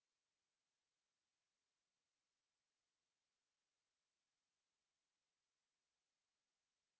দেখুন আরো আরো বেশী ব্যবধান দেখা যাচ্ছে